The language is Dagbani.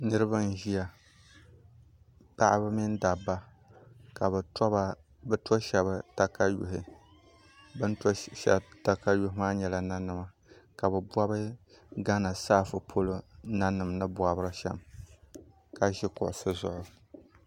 Niraba n ʒiya paɣaba mini dabba ka bi to shab katawii bi ni to shab katawii maa nyɛla nanima ka bi bob gana saafu polo nanim ni bobri shɛm ka ʒi kuɣusi zuɣu